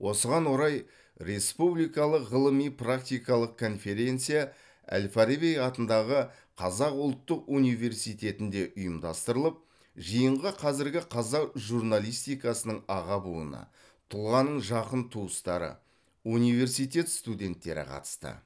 осыған орай республикалық ғылыми практикалық конференция әл фараби атындағы қазақ ұлттық университетінде ұйымдастырылып жиынға қазіргі қазақ журналистикасының аға буыны тұлғаның жақын туыстары университет студенттері қатысты